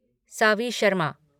Saavi Sharma